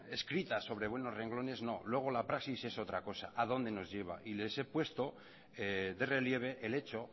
escritas sobre buenos renglones no luego la praxis es otra cosa a dónde nos lleva y les he puesto de relieve el hecho